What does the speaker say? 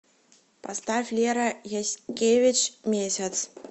поставь лера яскевич месяц